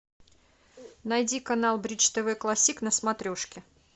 найди канал бридж тв классик на смотрешке